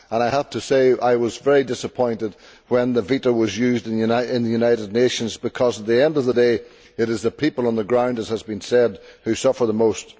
I have to say I was disappointed when the veto was used in the United Nations because, at the end of the day, it is the people on the ground as has been said who suffer the most.